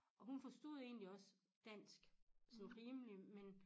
Og hun forstod egentlig også dansk sådan rimelig men